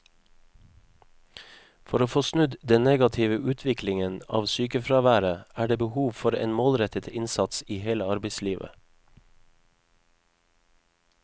For å få snudd den negative utviklingen av sykefraværet er det behov for en målrettet innsats i hele arbeidslivet.